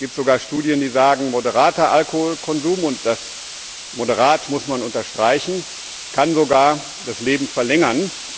Es gibt sogar Studien, die sagen, moderater Alkoholkonsum und das moderat muss man unterstreichen kann sogar das Leben verlängern.